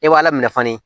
E b'a laminɛ kɔni